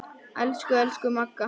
Elsku, elsku Magga.